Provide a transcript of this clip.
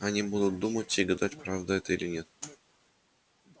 они будут думать и гадать правда это или нет